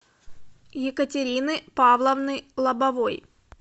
екатерины павловны лобовой